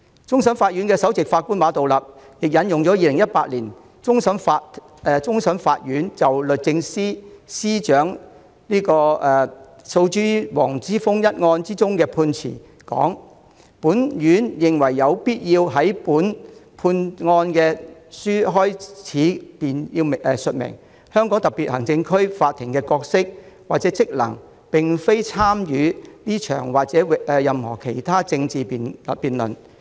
終審法院首席法官馬道立引用了2018年終審法院就律政司司長訴黃之鋒一案頒下的判詞："本院認為有必要在本判案書開首便述明，香港特別行政區法庭的角色或職能並非參與這場或任何其他政治辯論。